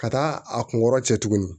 Ka taa a kun kɔrɔ cɛ tuguni